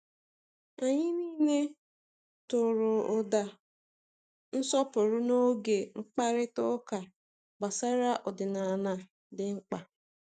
Anyị niile tụrụ ụda nsọpụrụ n’oge mkparịta ụka gbasara ọdịnala dị mkpa.